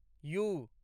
U